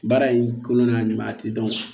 Baara in kɔnɔ n'a ɲuman tɛ dɔn